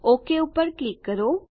okay પર click કરો